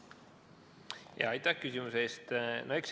Aitäh küsimuse eest!